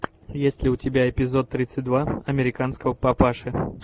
есть ли у тебя эпизод тридцать два американского папаши